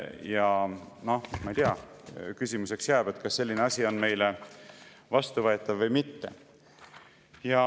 Ja noh, ma ei tea, küsimuseks jääb, kas selline asi on meile vastuvõetav või mitte.